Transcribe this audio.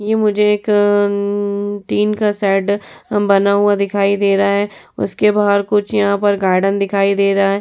ये मुझे एक अअअ अम्म्म टीन का शेड अम बना हुआ दिखाई दे रहा है। उसके बाहर कुछ यहां पर गार्डन दिखाई दे रहा है।